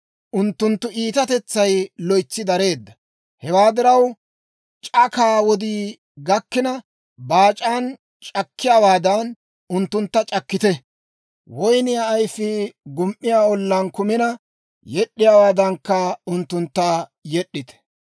Unttunttu iitatetsay loytsi dareedda. Hewaa diraw, c'akaa wodii gakkina baac'aan c'akkiyaawaadan, unttuntta c'akkite; woyniyaa ayfii gum"iyaa ollaan kumina yed'd'iyaawaadankka, unttuntta yed'd'ite.»